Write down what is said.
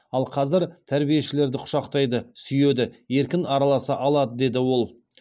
ал қазір тәрбиешілерді құшақтайды сүйеді еркін араласа алады деді ол